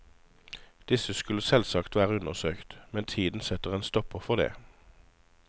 Disse skulle selvsagt vært undersøkt, men tiden setter en stopper for det.